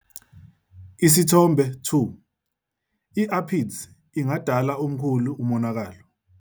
Isithombe 2- I-Aphids ingadala omkhulu umonakalo.